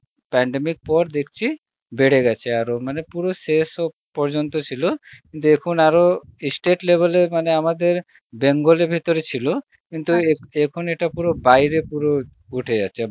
pandemic পর দেকচি বেড়ে গেছে আরো মানে পুরো শেষ ও পর্যন্ত ছিল দেখুন আরো state level এ আমাদের bengal এর ভিতরে ছিল এখন ইটা পুরো বাইরে পুরো উঠে যাচ্ছে